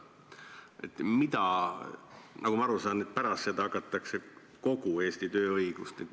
Pärast seda hakatakse neile rakendama kogu Eesti tööõigust.